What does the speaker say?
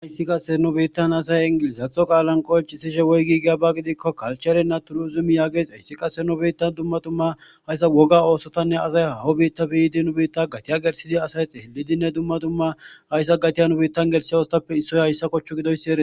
Haysi qase asay nu biittan ingilizatho qalan qoncishe woyigi giyaba gidikon culture nna tursim yages haysi qase nu bittan dumma dumma haysa woga osotanne asay haahon bittappe yiid nu bitan gatiya gelithid asay xeelidinne asay dumma haysa gatiya osotappe issoy haysa kochu gidoysi eretesi.